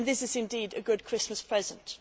This is, indeed, a good Christmas present.